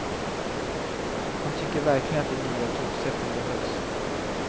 Han tycker verkligen att de nya tågsätten behövs.